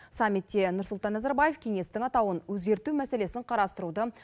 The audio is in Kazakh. саммитте нұрсұлтан назарбаев кеңестің атауын өзгерту мәселесін қарастыруды